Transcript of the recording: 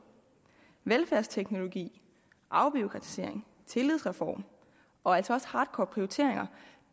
velfærdsteknologi afbureaukratisering en tillidsreform og altså også hardcore prioriteringer